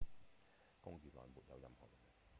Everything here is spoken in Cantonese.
公寓內沒有任何人